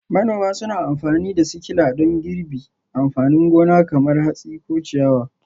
Manoma suna amfani da sikila don girbi amfanin gona kamar hatsi ko ciyawa.